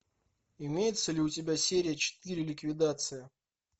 имеется ли у тебя серия четыре ликвидация